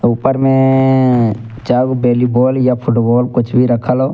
ऊपर में अअअ चार गो बेलिबॉल या फुटबॉल कुछ भी रखल हो।